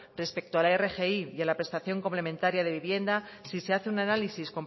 respecto a la rgi y a la prestación complementaria de vivienda si se hace un análisis